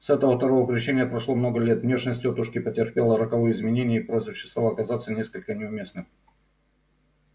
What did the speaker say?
с этого второго крещения прошло много лет внешность тётушки претерпела роковые изменения и прозвище стало казаться несколько неуместным